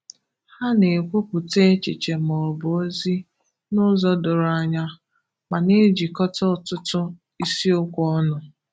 Há na-ekwupụta echiche maọbụ ozi n'ụzọ doro anya, ma na-éjikọta ọtụtụ ịsịokwu ọnụ.